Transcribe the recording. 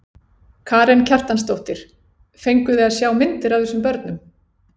Karen Kjartansdóttir: Fenguð þið að sjá myndir af þessum börnum?